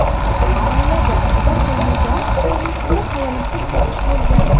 Oilada o‘g‘il bo‘lmagani tufayli fikru xayolim pul topish bo‘lgan.